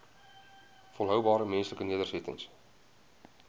volhoubare menslike nedersettings